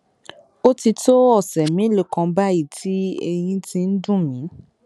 ó ti tó ọsẹ mélòó kan báyìí tí eyín ti ń dùn mí